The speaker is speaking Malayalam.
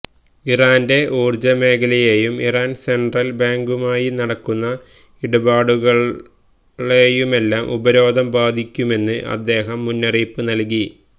ഇറാന്റെ ഊർജമേഖലയെയും ഇറാൻ സെൻട്രൽ ബാങ്കുമായി നടക്കുന്ന ഇടാപാടുകളെയുമെല്ലാം ഉപരോധം ബാധിക്കുമെന്ന് അദ്ദേഹം മുന്നറിയിപ്പ് നൽകി